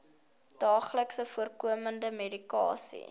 daagliks voorkomende medikasie